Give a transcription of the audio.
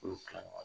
Olu kila